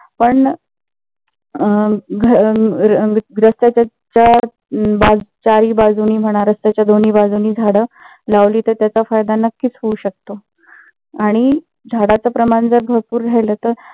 पण अं घर रस्त्या च्या चारही बाजूनी म्हणा रस्त्याच्या दोन्ही बाजूनी झाडं लावली तर त्याचा फायदा नक्कीच होऊ शकतो. आणि झाडाच प्रमाण जर भरपूर राहिलं तर